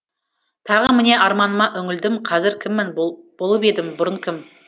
тағы міне арманыма үңілдім қазір кіммін болып едім бұрын кім